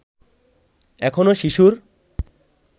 এখনো শিশুর